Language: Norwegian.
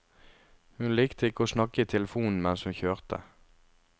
Hun likte ikke å snakke i telefonen mens hun kjørte.